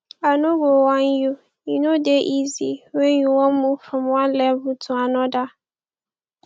i no go whine you e no dey easy when you wan move from one level to anodir